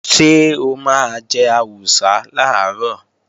Ṣé o máa jẹ àwùsá làárọ̀?